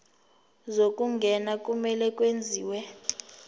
zokungena kumele kwenziwe